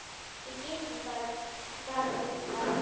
Við getum bara farið tvö.